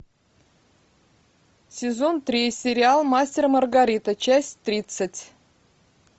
сезон три сериал мастер и маргарита часть тридцать